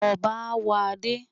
Ọbá á wọ̀ adé.